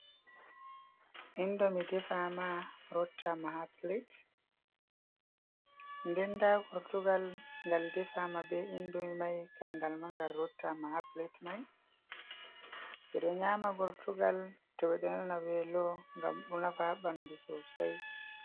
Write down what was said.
Indomi defama rottama ha pilet. Nden nda gortugal ngal defama be indomi mai Kan ngal ma nga rotta ma ha pilet mai. Ɓeɗo nyama gortugal to ɓeɗo nana velo ngam ɗo nafa ha ɓandu sosai.